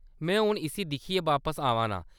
में हुन इस्सी दिक्खियै बापस आवा नां ।